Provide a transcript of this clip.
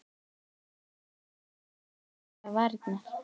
Ég veit það ekki, sagði hún án þess að hreyfa varirnar.